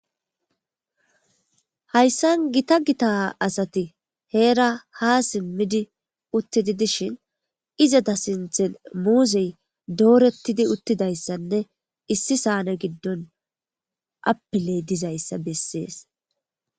Hayssan gita gita asati heera ha simmidi uttidi dishin izata sinthen muuzzey doorettidi uttidayssanne issi saane giddon apiley dizayssa bessees.